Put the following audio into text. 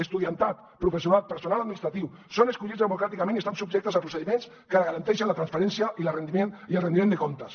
estudiantat professorat personal administratiu són escollits democràticament i estan subjectes a procediments que garanteixen la transparència i el rendiment de comptes